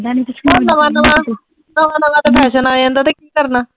ਹੋਰ ਨਵਾਂ-ਨਵਾਂ, ਨਵਾਂ-ਨਵਾਂ ਤੇ ਫੈਸ਼ਨ ਆ ਜਾਂਦਾ, ਤੇ ਕੀ ਕਰਨਾ।